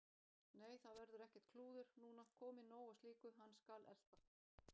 Nei, það verður ekkert klúður núna, komið nóg af slíku. hann skal elta